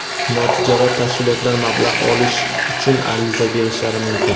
notijorat tashkilotlar mablag‘ olish uchun ariza berishlari mumkin.